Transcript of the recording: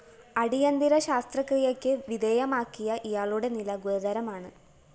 അടിയന്തിര ശസ്ത്രക്രിയക്ക് വിധേയമാക്കിയ ഇയാളുടെ നില ഗുരുതരമാണ്